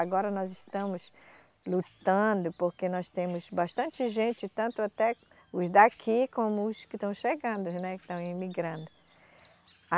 Agora nós estamos lutando porque nós temos bastante gente, tanto até os daqui como os que estão chegando, né, que estão emigrando.